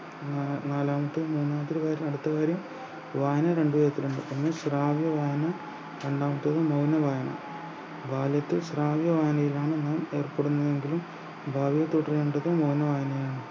ഉം നാ നാലാമത്തെയിൽ മൂന്നാമത്തെ ഒരു കാര്യം അടുത്ത കാര്യം വായന രണ്ട് തരത്തിൽ ഉണ്ട് ഒന്ന് ശ്രാവണ വായന രണ്ടാമത്തേത് മൗന വായന ബാല്യത്തിൽ ശ്രാവണ വായനയിലാണ് നാം ഏർപ്പെടുന്നുവെങ്കിൽ ഭാവിയിൽ തുടരേണ്ടത് മൗന വായനയാണ്